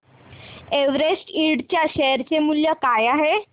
Everest इंड च्या share चे मूल्य काय आहे